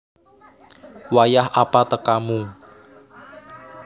Wayah apa tekamu